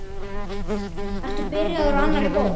Ertu byrjaður á annarri bók?